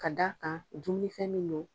Ka d' kan dumunifɛn min don.